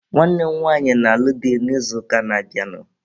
Nwanne m nwaanyị na-alụ di n'izuụka na-abịanụ.